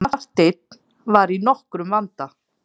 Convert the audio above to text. Marteinn var í nokkrum vanda.